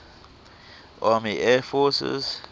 army air forces